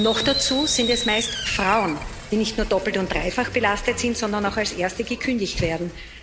Noch dazu sind es meist Frauen, die nicht nur doppelt und dreifach belastet sind, sondern auch als erste gekündigt werden.